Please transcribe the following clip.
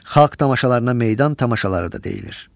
Xalq tamaşalarına meydan tamaşaları da deyilir.